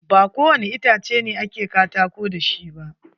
Ba ko wani itace ne a ke katako da shi ba.